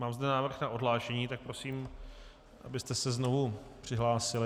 Mám zde návrh na odhlášení, tak prosím, abyste se znovu přihlásili.